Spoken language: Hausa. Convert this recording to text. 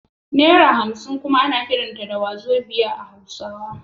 Naira hamsin kuma ana kiranta da Wazobia da hausawa